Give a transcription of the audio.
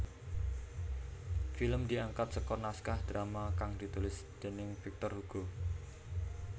Film diangkat saka naskah drama kang ditulis déning Victor Hugo